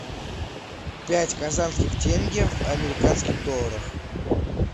пять казахских тенге в американских долларах